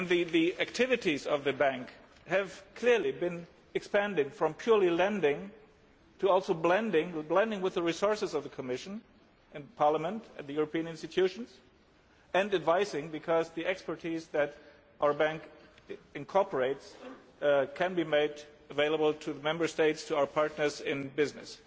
The activities of the bank have clearly been expanded from purely lending to also blending with the resources of the Commission and Parliament and the European institutions, and advising because the expertise that our bank incorporates can be made available to the Member States, to our partners in business.